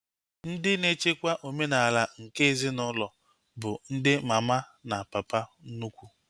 Ndị na-echekwa omenala nke ezinaụlọ bụ ndi mama na papa nnukwu